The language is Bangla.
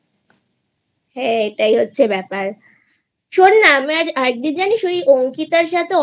হ্যাঁ এটাই হচ্ছে ব্যাপার শোন না আমার একদিন জানিস ওই অঙ্কিতার সাথে